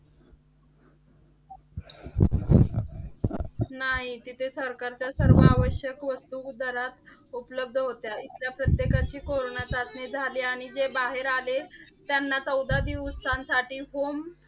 नाही. तिथे सरकारच्या सर्व आवश्यक वस्तू दरात उपलब्ध होत्या. ईथल्या प्रत्येकाची कोरोना चाचणी झाली. आणि जे बाहेर आले त्यांना चौदा दिवसांसाठी home